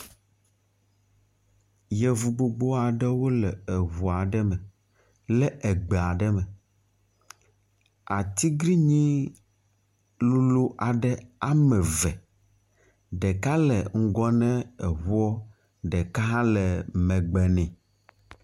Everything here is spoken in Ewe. Yevu gbogbo aɖewo le eŋu aɖe me le egbe aɖe me. Atiglinyi lolo aɖe ame eve, ɖeka le ŋgɔ na eŋuɔ, ɖeka hã le megbe nɛ.